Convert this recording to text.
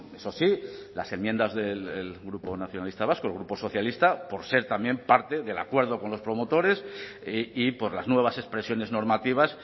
eso sí las enmiendas del grupo nacionalista vasco el grupo socialista por ser también parte del acuerdo con los promotores y por las nuevas expresiones normativas